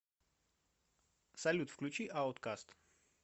салют включи ауткаст